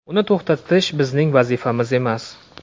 Uni to‘xtatish bizning vazifamiz emas.